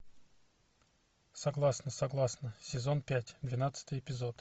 согласна согласна сезон пять двенадцатый эпизод